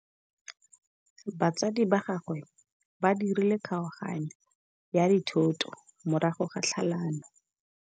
Batsadi ba gagwe ba dirile kgaoganyô ya dithoto morago ga tlhalanô.